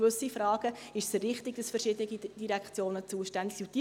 Bei gewissen Fragen ist es richtig, dass verschiedene Direktionen zuständig sind.